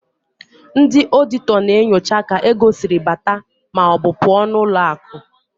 Ndị ọọdịtọ na-enyocha ka ego siri bata maọbụ pụọ n'ụlọakụ.